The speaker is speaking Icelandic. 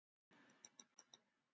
Já en hvað getum við gert?